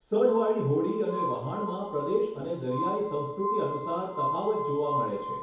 સઢવાળી હોડી અને વહાણમાં પ્રદેશ અને દરિયાઈ સંસ્કૃતિ અનુસાર તફાવત જોવા મળે છે.